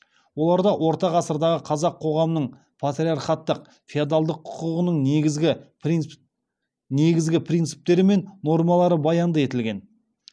оларда орта ғасырдағы қазақ қоғамының патриархаттық феодалдық құқығының негізгі принциптері мен нормалары баянды етілген